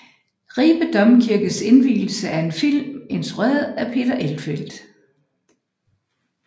Ribe Domkirkes indvielse er en film instrueret af Peter Elfelt